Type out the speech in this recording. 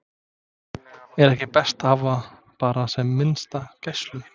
Er ekki best að hafa bara sem minnsta gæslu?